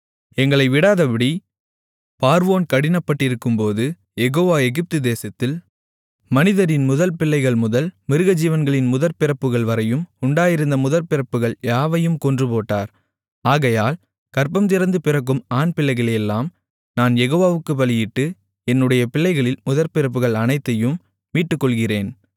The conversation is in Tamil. எங்களை விடாதபடி பார்வோன் கடினப்பட்டிருக்கும்போது யெகோவா எகிப்து தேசத்தில் மனிதரின் முதல்பிள்ளைகள்முதல் மிருகஜீவன்களின் முதற்பிறப்புகள்வரையும் உண்டாயிருந்த முதற்பிறப்புகள் யாவையும் கொன்றுபோட்டார் ஆகையால் கர்ப்பந்திறந்து பிறக்கும் ஆண்களையெல்லாம் நான் யெகோவாவுக்குப் பலியிட்டு என்னுடைய பிள்ளைகளில் முதற்பிறப்புகள் அனைத்தையும் மீட்டுக்கொள்ளுகிறேன்